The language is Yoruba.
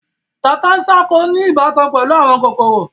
Tata-n-sánkọ ní ìbátan pẹ̀lú àwọn kòkòrò.